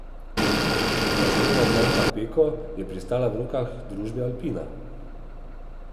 Blagovna znamka Peko je pristala v rokah družbe Alpina.